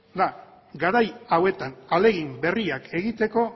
da garai hauetan ahalegin berriak egiteko